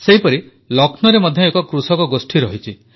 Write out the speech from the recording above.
ସେହିପରି ଲକ୍ଷ୍ନୌରେ ମଧ୍ୟ ଏକ କୃଷକ ଗୋଷ୍ଠୀ ରହିଛି